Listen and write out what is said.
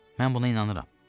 Mən buna inanıram.